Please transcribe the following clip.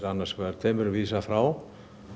tveimur er vísað frá